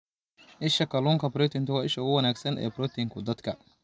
Isha Kalluunka Proteinku waa isha ugu wanaagsan ee borotiinka dadka.